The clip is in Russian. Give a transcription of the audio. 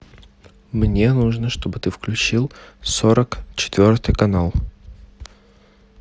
мне нужно чтобы ты включил сорок четвертый канал